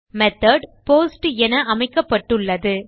method post என அமைக்கப்பட்டுள்ளது